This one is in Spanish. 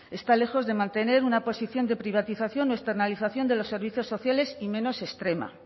está lejos de mantener una posición de privatización o externalización de los servicios sociales y menos extrema